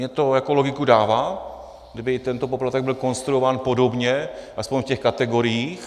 Mně to jako logiku dává, kdyby tento poplatek byl konstruován podobně, aspoň v těch kategoriích.